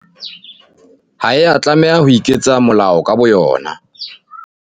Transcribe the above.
Ha ya tlameha ho iketsa molao ka bo yona.